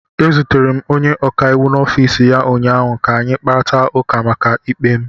Ezutere m onye ọkaiwu n'ọfiisi ya ụnyaahụ ka anyị kparịta ụka maka ikpe m.